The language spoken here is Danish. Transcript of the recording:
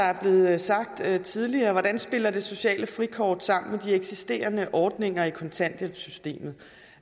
er blevet sagt tidligere hvordan spiller det sociale frikort sammen med de eksisterende ordninger i kontanthjælpssystemet